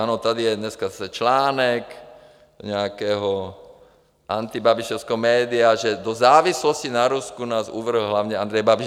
Ano, tady je dneska zase článek nějakého antibabišovského média, že do závislosti na Rusku nás uvrhl hlavně Andrej Babiš.